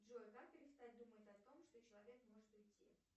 джой как перестать думать о том что человек может уйти